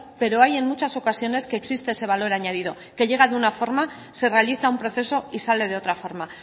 pero hay en muchas ocasiones que existe ese valor añadido que llega de una forma se realiza un proceso y sale de otra forma